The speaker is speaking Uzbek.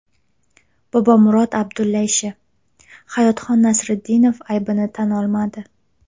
Bobomurod Abdulla ishi: Hayotxon Nasriddinov aybini tan olmadi.